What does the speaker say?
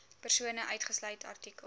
persone uitgesluit artikel